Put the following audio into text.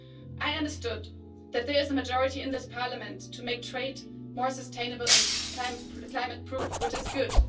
I understood that there is a majority in this Parliament to make trade more sustainable and climate proof, which is good.